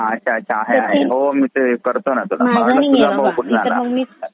तुझा भाऊ तो चुलत वाला आत्ते भाऊ?